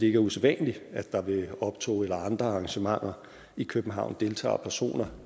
er usædvanligt at der ved optog eller andre arrangementer i københavn deltager personer